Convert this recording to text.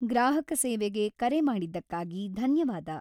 ಗ್ರಾಹಕ ಸೇವೆಗೆ ಕರೆ ಮಾಡಿದ್ದಕ್ಕಾಗಿ ಧನ್ಯವಾದ.